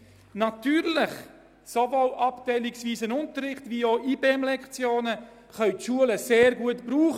Natürlich können die Schulen sowohl abteilungsweisen Unterricht als auch IBEM-Lektionen sehr gut gebrauchen.